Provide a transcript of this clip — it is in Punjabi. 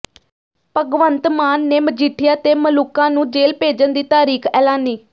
ਭਗਵੰਤ ਮਾਨ ਨੇ ਮਜੀਠੀਆ ਤੇ ਮਲੂਕਾ ਨੂੰ ਜੇਲ੍ਹ ਭੇਜਣ ਦੀ ਤਾਰੀਖ ਐਲਾਨੀ